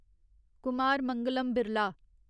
Kumar Mangalam Birla